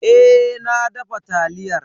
Eh na dafa taliyar.